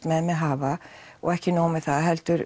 með mig hafa og ekki nóg með það heldur